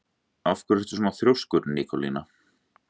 Af hverju ertu svona þrjóskur, Nikólína?